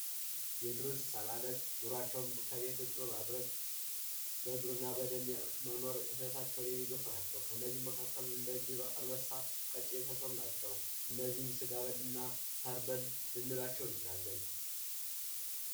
የዱር እንስሳት ኑሯቸውን ከቤት ውጪ በማድረግ በዱር እና በገደል በመኖር ህይወታቸውን የማገፉ ናቸው። ከእነዚህም መካከል እንደ ጅብ፣ አንበሳ ፣ቀጭኔ የመሳሰሉት ናቸው። እነዚህም ስጋ በል እና ሳር በል ልንላቸው እንችላለን።